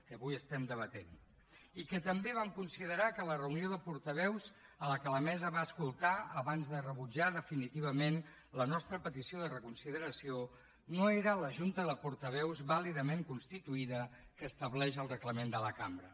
que avui estem debatent i que també vam considerar que la reunió de portaveus que la mesa va escoltar abans de rebutjar definitivament la nostra petició de reconsideració no era la junta de portaveus vàlidament constituïda que estableix el reglament de la cambra